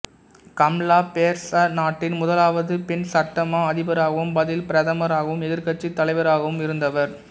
Kamla Persad நாட்டின் முதலாவது பெண் சட்டமா அதிபராகவும் பதில் பிரதமராகவும் எதிர்க்கட்சித் தலைவராகவும் இருந்தவர்